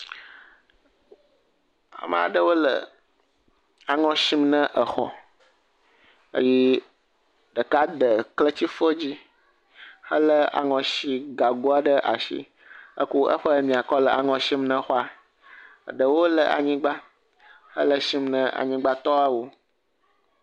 Ame aɖewo le aŋɔ sim ne exɔ, eye ɖeka de kletifɔ dzi hele aŋɔ si gago aɖe ɖe asi heko eƒe nuya kɔ le aŋɔ sim na xɔa, eɖewo le anyigba, ele sim na anyigbatɔwo.